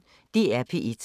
DR P1